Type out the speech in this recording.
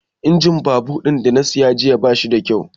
Injin babur ɗin da na siya jiya bashi da kyau